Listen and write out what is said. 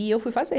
E eu fui fazer.